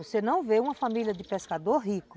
Você não vê uma família de pescador rico